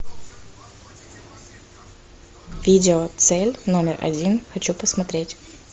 видео цель номер один хочу посмотреть